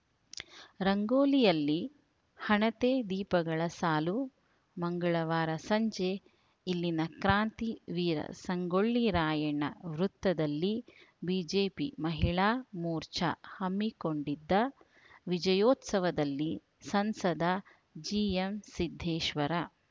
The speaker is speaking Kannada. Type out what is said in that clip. ರಂಗೋಲಿಯಲ್ಲಿ ಹಣತೆ ದೀಪಗಳ ಸಾಲು ಮಂಗಳವಾರ ಸಂಜೆ ಇಲ್ಲಿನ ಕ್ರಾಂತಿ ವೀರ ಸಂಗೊಳ್ಳಿ ರಾಯಣ್ಣ ವೃತ್ತದಲ್ಲಿ ಬಿಜೆಪಿ ಮಹಿಳಾ ಮೋರ್ಚಾ ಹಮ್ಮಿಕೊಂಡಿದ್ದ ವಿಜಯೋತ್ಸವದಲ್ಲಿ ಸಂಸದ ಜಿಎಂಸಿದ್ದೇಶ್ವರ